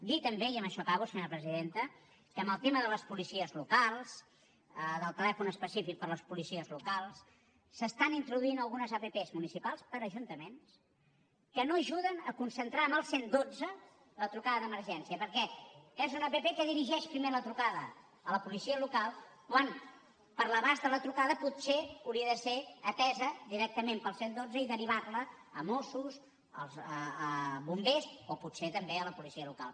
dir també i amb això acabo senyora presidenta que amb el tema de les policies locals del telèfon específic per a les policies locals s’estan introduint algunes app municipals per a ajuntaments que no ajuden a concentrar en el cent i dotze la trucada d’emergència perquè és una app que dirigeix primer la trucada a la policia local quan per l’abast de la trucada potser hauria de ser atesa directament pel cent i dotze i derivar la a mossos a bombers o potser també a la policia local